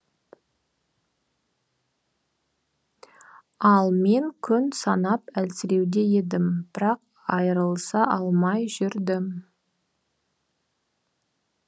ал мен күн санап әлсіреуде едім бірақ айырылыса алмай жүрдім